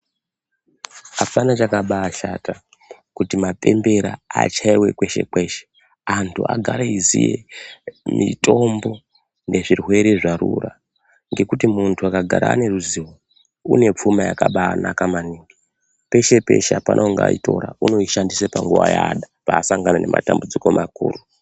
Apana chakabashata kuti mapembera achaiwe kweshe kweshe antu agare eiziye mitombo nezvirwere zvarura ngekuti muntu akagara ane ruzivo une pfuma yakabanaka maningi peshe peshe apana ungaitora unoishandisa panguwa yaada paasangana nematambudziko makuru.